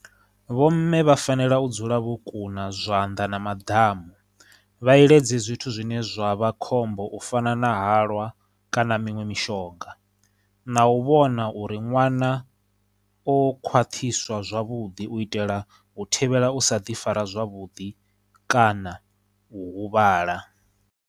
Vho mme vha fanela u dzula vho kuna zwanḓa na maḓamu, vha iledze zwithu zwine zwa vha khombo u fana na halwa kana miṅwe mishonga, na u vhona uri ṅwana o khwaṱhiswa zwavhuḓi u itela u thivhela u sa ḓi fara zwavhuḓi kana u huvhala.